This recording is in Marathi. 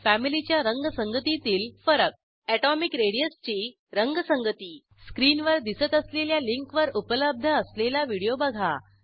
फॅमिलीच्या रंगसंगतीतील फरक एटोमिक रेडियस ची रंगसंगती स्क्रीनवर दिसत असलेल्या लिंकवर उपलब्ध असलेला व्हिडिओ बघा